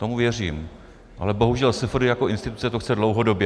Tomu věřím, ale bohužel SFDI jako instituce to chce dlouhodobě.